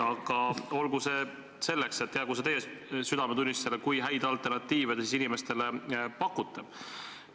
Aga olgu, see selleks, jäägu see teie südametunnistusele, kui häid alternatiive te inimestele pakute.